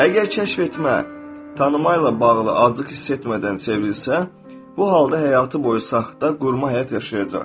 Əgər kəşf etmə tanıma ilə bağlı acıq hiss etmədən çevrilsə, bu halda həyatı boyu saxta qurma həyat yaşayacaq.